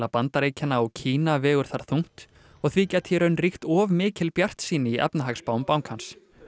Bandaríkjanna og Kína vegur þar þungt og því gæti í raun ríkt of mikil bjartsýni í efnahagsspám bankans á